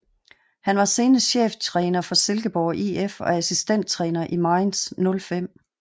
Han var senest cheftræner for Silkeborg IF og assistenttræner i Mainz 05